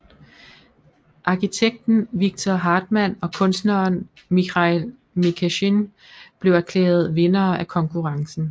Arkitekten Viktor Hartmann og kunstneren Mikhail Mikesjin blev erklæret vindere af konkurrencen